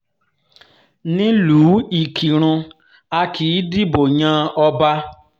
nílùú ìkírùn a kì í dìbò yan ọba